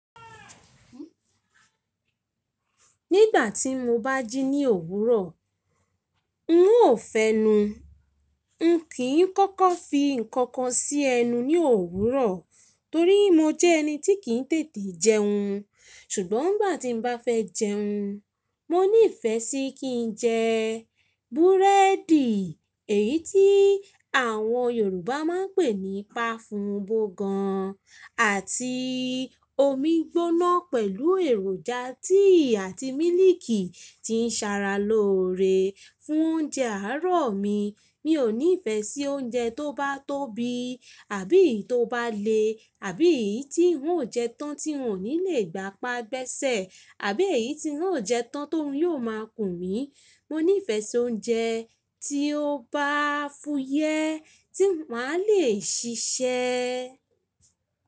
Nígbà tí mo bá jí ní òwúrọ̀, n ó fẹnu. N kì í kọ́kọ́ fi nǹkan kan sí ẹnu ní òwúrọ̀ torí mo jẹ́ ẹni tí kì í tètè jẹun. Ṣùgbọ́n ngbà tí mo bá fẹ́ jẹun, mo ní ìfẹ́ sí kí jẹ búrẹ́dì, èyí tí àwọn Yorùbá máa ń pè ní pafùnbo gan, àti omi gbóná pẹ̀lú èròjà tíì àti mílíìkì tí ń sara loore fún oúnjẹ àárọ̀ mi. Mi ò ní ìfẹ́ sí oúnjẹ tó bá tóbi àbí eyi to bá le àbí èyí tí ń ó jẹ tán tí ń ò ní lè gbá pa gbẹ́sẹ̀ àbí èyí tí ń ó jẹ tán tó ruń yóò máa kùn mí. Mo ní ìfẹ́ sí oúnjẹ tí ó bá fúyẹ́ tí màá lè ṣiṣẹ́